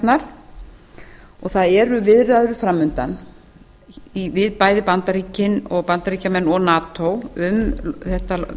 við ratsjárnar það eru viðræður farmundan við bæði bandaríkjamenn og nato um þetta